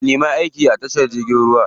Ka nemi aiki a tashar jirgin ruwa.